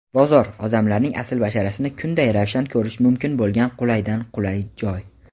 Bozor - odamlarning asl basharasini kunday ravshan ko‘rish mumkin bo‘lgan qulaydan-qulay joy.